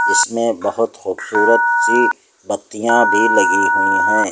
इसमें बहोत खूबसूरत सी बत्तियां भी लगी हुई हैं।